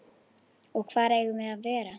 Og hvar eigum við að vera?